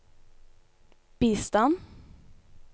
bistand